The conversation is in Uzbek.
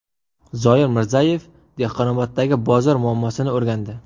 Zoir Mirzayev Dehqonoboddagi bozor muammosini o‘rgandi.